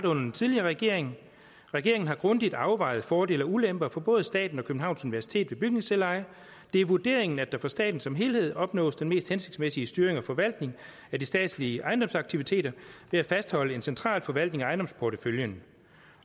under den tidligere regering regeringen har grundigt afvejet fordele og ulemper for både staten og københavns universitet ved bygningsselveje det er vurderingen at der for staten som helhed opnås den mest hensigtsmæssige styring og forvaltning af de statslige ejendomsaktiviteter ved at fastholde en central forvaltning af ejendomsporteføljen